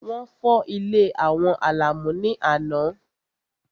Wọ́n fọ́ ilé àwọn Àlàmú ní àná.